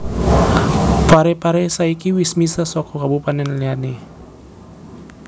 Pare Pare saiki wis misah soko kabupaten liyane